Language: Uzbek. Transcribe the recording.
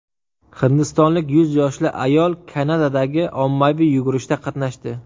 Hindistonlik yuz yoshli ayol Kanadadagi ommaviy yugurishda qatnashdi.